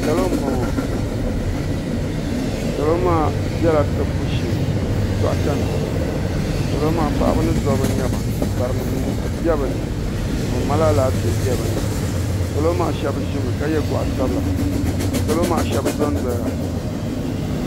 Salo mbɔŋɔ salo bɛla tibbu shɛɛ dɔɣtɛ salo paɣba ni dabba nyɛba bari nim bɛ ni ka ban mali alaafɛɛ bɛɛ bɛ ni salo shɛb ʒimi yɛ ka yɛ gɔɣu sabila ka salo shɛb dɔndɔya.